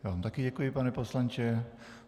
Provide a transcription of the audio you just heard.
Já vám také děkuji, pane poslanče.